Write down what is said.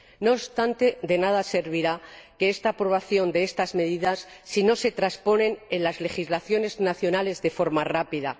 No obstante, de nada servirá la aprobación de estas medidas si no se transponen en las legislaciones nacionales de forma rápida